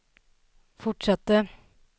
fortsatte